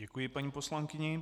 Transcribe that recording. Děkuji paní poslankyni.